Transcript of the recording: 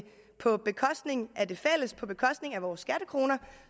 på bekostning af det fælles på bekostning af vores skattekroner